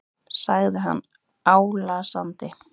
sagði hann álasandi.